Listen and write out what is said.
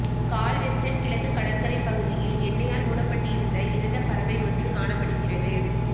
Galveston கிழக்கு கடற்கரை பகுதியில் எண்ணெயால் மூடப்பட்டிருந்த இறந்த பறவை ஒன்று காணப்படுகிறது